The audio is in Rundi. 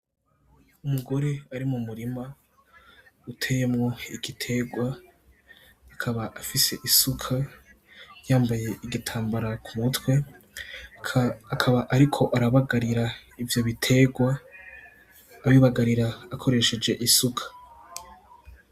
Umugore ari mu murima, uteyemwo igiterwa, akaba afise isuka, yambaye igitambara ku mutwe , akaba ariko arabagarira ivyo biterwa, abibagarira akoresheje isuka.